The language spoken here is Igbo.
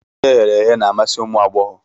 Ihe e ghere eghe na-amasi ụmụ agbọghọ